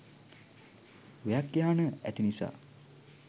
ව්‍යක්ඛ්‍යාන ඇති නිසා